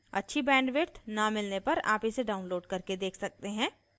अच्छी bandwidth न मिलने पर आप इसे download करके देख सकते हैं